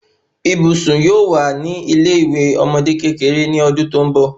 Ibùsùn yóò wà ní ilé iwe ọmọde kékeré ni ọdún tó n bọ